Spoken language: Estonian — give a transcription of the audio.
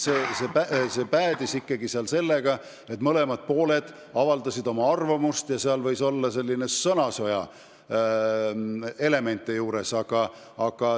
See päädis ikkagi sellega, et mõlemad pooled avaldasid oma arvamust, nii et tegu võis olla vaid sõnasõja elemendiga.